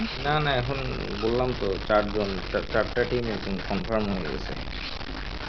না না এখন বললাম তো চার জন চারটা team confirm একদম হয়ে গেসে.